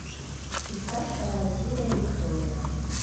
искать вторая серия виктория